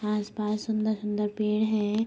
यहाँ आस पास सुन्दर सुन्दर पेड़ हैं।